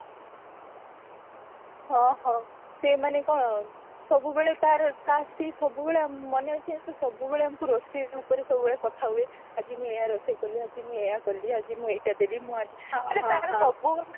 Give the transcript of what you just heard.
ହଁ ହଁ ସେ ମାନେ କଣ ତାର ତା ସେଇ ସବୁବେଳେ ମନେ ଅଛି ସେ ସବୁବେଳେ ଆମକୁ ରୋଷେଇ ଉପରେ ସବୁବେଳେ କଥା ହୁଏ ଆଜି ମୁଁ ଏଇଆ ରୋଷେଇ କଲି ଆଜି ମୁଁ ଏଇଆ କଲି ମୁଁ ଆଜି ଏଇଟା ଦେଲି ମାନେ ତାର ସବୁ